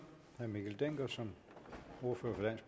herre mikkel dencker som ordfører